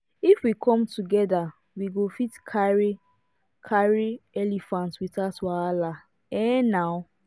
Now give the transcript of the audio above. if we come together we go fit carry carry elephant without wahala um